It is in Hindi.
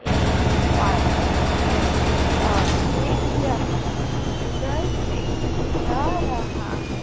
एक पार्लर है और एक व्यक्ति उधर से जा रहा है।